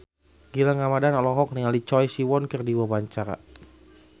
Gilang Ramadan olohok ningali Choi Siwon keur diwawancara